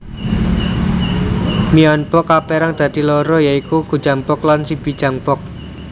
Myeonbok kaperang dadi loro ya iku Gujangbok lan Sibijangbok